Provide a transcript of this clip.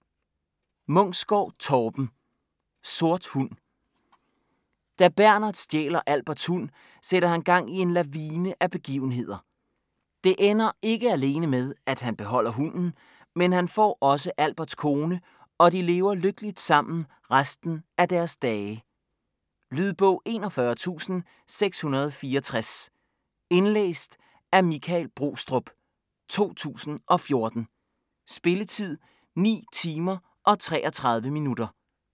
Munksgaard, Torben: Sort hund Da Bernhard stjæler Alberts hund, sætter han gang i en lavine af begivenheder. Det ender ikke alene med, at han kan beholde hunden, men han får også Alberts kone og de lever lykkeligt sammen resten af deres dage. Lydbog 41664 Indlæst af Michael Brostrup, 2014. Spilletid: 9 timer, 33 minutter.